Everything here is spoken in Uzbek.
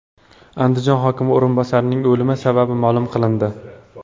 Andijon hokimi o‘rinbosarining o‘limi sababi ma’lum qilindi.